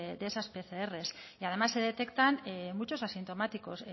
de esas pcr y además se detectan muchos asintomáticos